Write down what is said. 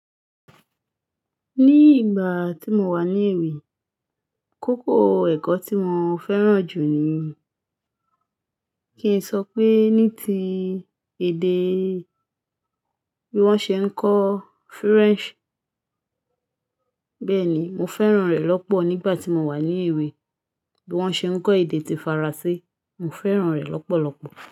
Ní ìgbà tí mo wà ní èwe, koko ẹ̀kọ́ tí mo fẹ́ràn jù ni, kí n sọ pé ní ti èdè bí wọ́n ṣe ń kọ French. Bẹ́ẹ̀ ni, mo fẹ́ràn rẹ̀ lọ́pọ̀ nígbà tí mo wà ní èwe bí wọ́n ṣe ń kọ èdè ti Faransé, mo fẹ́ràn rẹ̀ lọ́pọ̀lọ́pọ̀